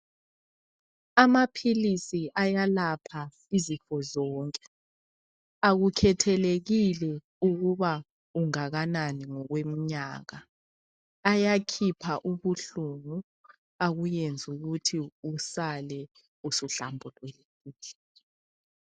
Amaphilisi ayelapha izifo zonke akukhethelekile ukuba ungakanani ngokwemnyaka ayakhipha ubuhlungu akuyenze ukuthi usale usuhlambulukile